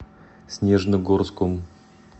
снежногорском